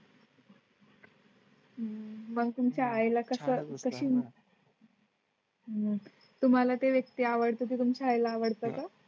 हम्म. मग तुमच्या आई ला कशी? मग तुम्हाला ते व्यक्ती आवडते. ते तुमच्या आईला आवडतं का